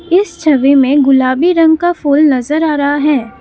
इस छवि में गुलाबी रंग का फूल नजर आ रहा है।